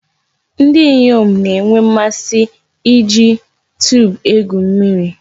Ndi inyom na-enwe mmasi iji tube egwu mmiri.